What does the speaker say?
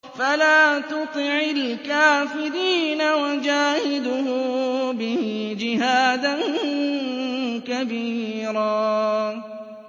فَلَا تُطِعِ الْكَافِرِينَ وَجَاهِدْهُم بِهِ جِهَادًا كَبِيرًا